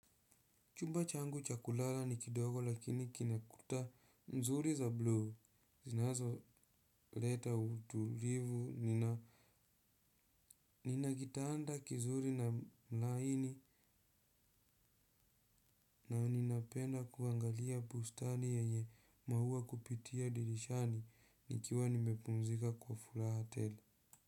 Chumba changu cha kulala ni kidogo lakini kina kuta nzuri za bluu zinazoleta utulivu. Nina kitanda kizuri na laini na ninapenda kuangalia bustani yenye maua kupitia dirishani nikiwa nimepunzika kwa furaha tele.